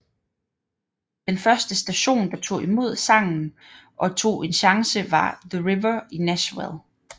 Den første station der tog imod sangen og tog en chance var The River i Nashville